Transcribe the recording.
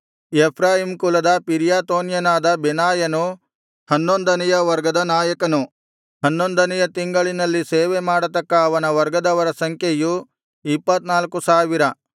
Ephraim ಕುಲದ ಪಿರ್ರಾತೋನ್ಯನಾದ ಬೆನಾಯನು ಹನ್ನೊಂದನೆಯ ವರ್ಗದ ನಾಯಕನು ಹನ್ನೊಂದನೆಯ ತಿಂಗಳಿನಲ್ಲಿ ಸೇವೆಮಾಡತಕ್ಕ ಅವನ ವರ್ಗದವರ ಸಂಖ್ಯೆಯು ಇಪ್ಪತ್ತ್ನಾಲ್ಕು ಸಾವಿರ